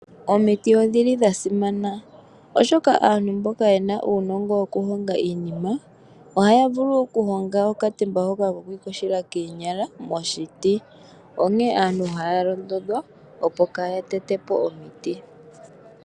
Omiiti odhili dhasimana oshoka aantu mboka yena uunogo woku honga iinima ohaya vulu oku honga okatemba hoka koku iyogela koonyala moshiti. Onkee aantu otaya londodhwa opo kaya tete po omiiti.